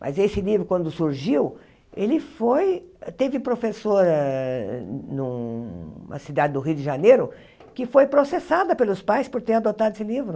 Mas esse livro, quando surgiu, ele foi... Teve professora numa cidade do Rio de Janeiro que foi processada pelos pais por ter adotado esse livro.